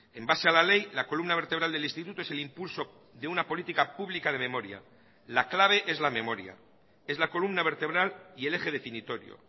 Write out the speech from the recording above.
en base a la ley la columna vertebral del instituto es el impulso de una política pública de memoria la clave es la memoria es la columna vertebral y el eje definitorio